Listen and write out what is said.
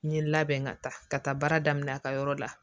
N ye n labɛn ka taa ka taa baara daminɛ a ka yɔrɔ la